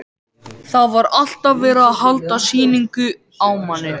Það var alltaf verið að halda sýningu á manni.